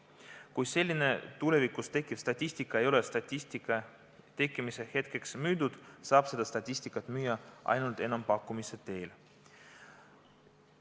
Kui selline tulevikus tekkiv statistika ei ole statistika tekkimise hetkeks müüdud, saab seda statistikat müüa ainult enampakkumise teel.